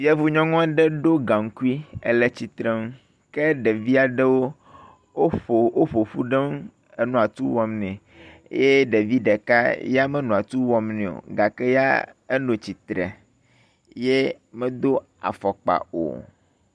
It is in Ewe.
Yevunyɔnu aɖe ɖo gaŋkui ele tsitre nu ke ɖevi aɖewo wo ƒoƒu ɖe eŋu enɔ atu wɔm nɛ eye ɖevi ɖeka ya menɔ atu wɔm nɛ o gake ya enɔ tsitre ye medo afɔkpa o.